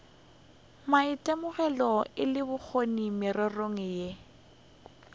maitemogelo le bokgoni mererong yeo